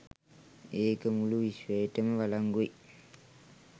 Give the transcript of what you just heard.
ඒක මුළු විශ්වයටම වලංගුයි.